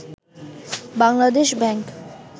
Bangladesh bank